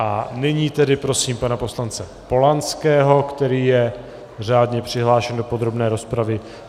A nyní tedy prosím pana poslance Polanského, který je řádně přihlášen do podrobné rozpravy.